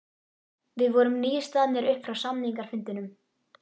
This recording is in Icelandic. Við vorum nýstaðnir upp frá samningafundinum.